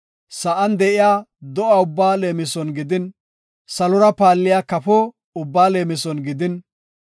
sa7an de7iya do7a ubbaa leemison gidin, salora paalliya kafo ubbaa leemison gidin,